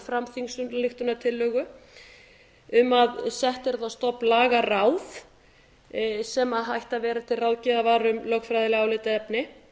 fram þingsályktunartillögu um að sett yrði á stofn lagaráð sem ætti að vera til ráðgjafar um lögfræðileg álitaefni